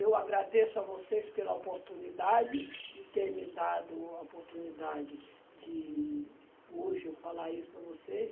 Eu agradeço a vocês pela oportunidade de ter me dado a oportunidade de hoje eu falar isso para vocês.